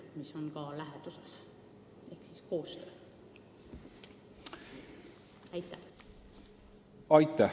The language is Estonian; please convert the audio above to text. Kas te näete selles koostöös takistusi?